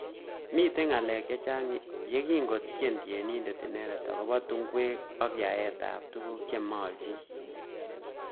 Mitei ngalek chechang yekingo tien tienindet inendet akobo tungwek ak yaet ab tukuk chemaljin.